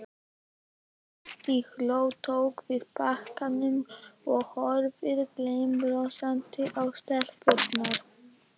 Tóti hló, tók við pakkanum og horfði gleiðbrosandi á stelpuna.